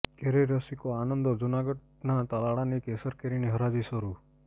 કેરી રસિકો આનંદોઃ જૂનાગઢના તાલાલાની કેસર કેરીની હરાજી શરૂ